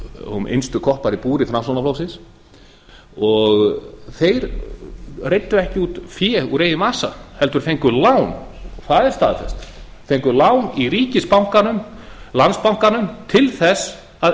og innstu koppar í búri framsóknarflokksins þeir reiddu ekki út fé úr eigin vasa heldur fengu lán það er staðreynd fengu lán í ríkisbankanum landsbankanum til þess að